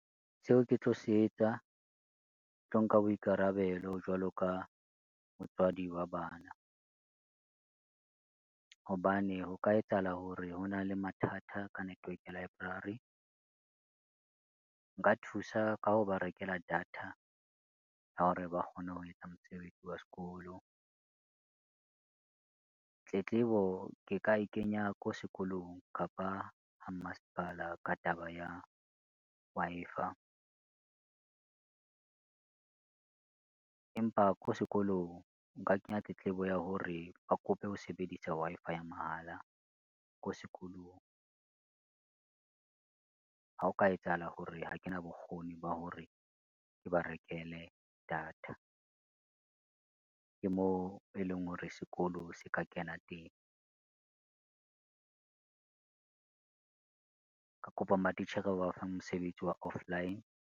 Seo ke tlo se etsa, tlo nka boikarabelo jwalo ka motswadi wa bana. Hobane ho ka etsahala hore ho na le mathata ka network library. Nka thusa ka ho ba rekela data ya hore ba kgone ho etsa mosebetsi wa sekolo. Tletlebo ke ka e kenya ko sekolong kapa ha mmasepala ka taba ya Wi-Fi, empa ko sekolong nka kenya tletlebo ya hore ba kope ho sebedisa Wi-Fi ya mahala ko sekolong. Ha o ka etsahala hore ha kena bokgoni ba hore ke ba rekele data, ke moo e leng hore sekolo se ka kena teng. Ka kopa matitjhere ba ba fa mosebetsi wa offline.